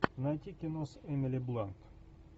найти кино с эмили блант